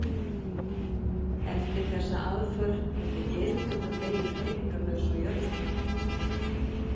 Eftir þessa aðför hefði Geirfinnur legið hreyfingarlaus á jörðinni.